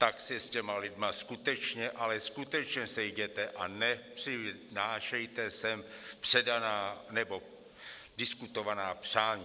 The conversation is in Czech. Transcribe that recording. Tak se s těmi lidmi skutečně, ale skutečně sejděte a nepřinášejte sem předaná nebo diskutovaná přání.